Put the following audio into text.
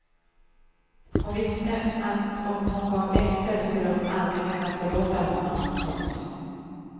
Hon visste att om hon gav efter skulle hon aldrig kunna förlåta honom. punkt